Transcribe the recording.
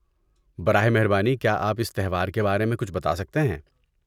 براہ مہربانی کیا آپ اس تہوار کے بارے میں کچھ بتا سکتے ہیں؟